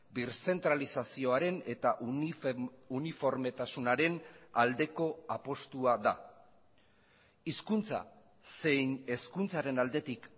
birzentralizazioaren eta uniformetasunaren aldeko apustua da hizkuntza zein hezkuntzaren aldetik